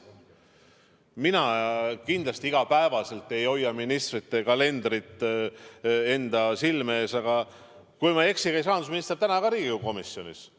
Mina kindlasti igapäevaselt ei hoia ministrite kalendrit silme ees, aga kui ma ei eksi, käis rahandusminister ka täna Riigikogu komisjonis.